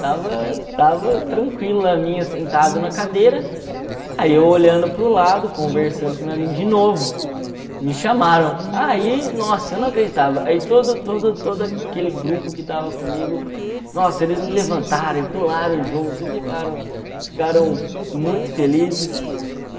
Estava estava tranquilo na minha sentado na cadeira, aí eu olhando para o lado, conversando com meu amigo de novo, me chamaram, aí, nossa, eu não acreditava, aí todo todo todo aquele grupo que tava comigo, nossa, eles me levantaram e pularam junto e ficaram ficaram muito felizes